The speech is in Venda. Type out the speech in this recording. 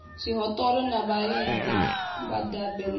zwihoṱola na vhalidi vhadabe na